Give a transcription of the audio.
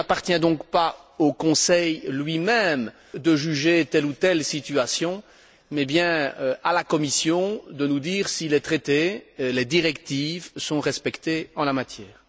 Il n'appartient donc pas au Conseil lui même de juger telle ou telle situation, mais bien à la Commission de nous dire si les traités et les directives, sont respectés en la matière.